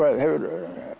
hefur